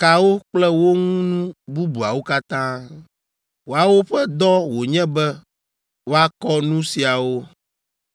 kawo kple wo ŋu nu bubuawo katã. Woawo ƒe dɔ wònye be woakɔ nu siawo.